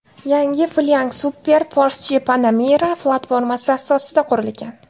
Yangi Flying Spur Porsche Panamera platformasi asosida qurilgan.